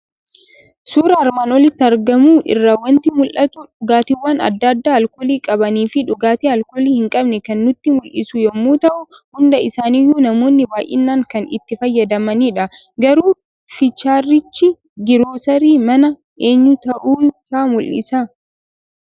Suuraa armaan olitti argamu irraa waanti mul'atu; dhugaatiwwan adda addaa alkoolii qabaniifi dhugaati alkoolii hin qabnee kan nutti mul'isu yommuu ta'u, hundaa isaaniyyuu namoonni baay'inaan kan itti fayyadamanidha. Garuu fiichariichi giroosari mana eenyuu ta'uusaa mul'isaa?